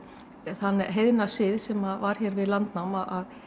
þann heiðna sið sem var hér við landnám að